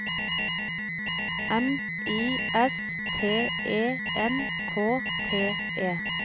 M I S T E N K T E